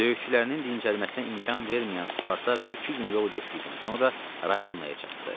Döyüşçülərinin dincəlməsinə imkan verməyən Spartak iki gün yol getdikdən sonra Ravenaya çatdı.